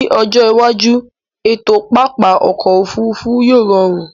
Ní ọjọ́ iwájú, ètò pápá ọkọ̀ Òfurufú yíò rọrùn